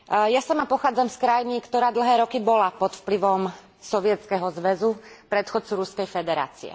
Ja sama pochádzam z krajiny, ktorá bola dlhé roky pod vplyvom Sovietskeho zväzu predchodcu Ruskej federácie.